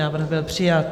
Návrh byl přijat.